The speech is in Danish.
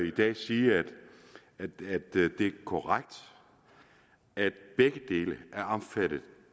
i dag sige at det er korrekt at begge dele er omfattet